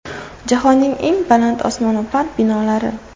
Jahonning eng baland osmono‘par binolari .